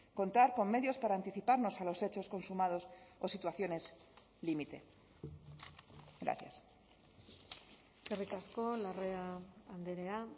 contar con medios para anticiparnos a los hechos consumados o situaciones límite gracias eskerrik asko larrea andrea